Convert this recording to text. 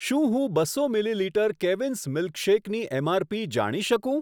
શું હું બસો મિલીલીટર કેવીન્સ મિલ્કશેકની એમઆરપી જાણી શકું?